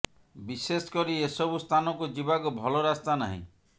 ବିଶେଷ କରି ଏସବୁ ସ୍ଥାନକୁ ଯିବାକୁ ଭଲ ରାସ୍ତା ନାହିଁ